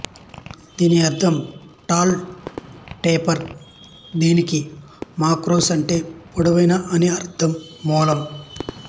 దీని అర్ధం tall taper దీనికి మాక్రోస్ అంటే పొడవైన అని అర్ధం మూలం